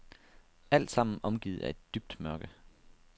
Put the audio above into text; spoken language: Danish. Altsammen omgivet af et dybt mørke.